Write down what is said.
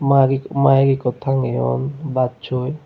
mike ik mike ikko tangeyon bassoi.